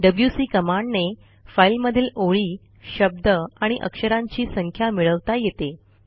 WC कमांडने फाईलमधील ओळी शब्द आणि अक्षरांची संख्या मिळवता येते